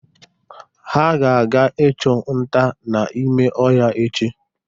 Ha ga-aga ịchụ nta n'ime ọhịa echi.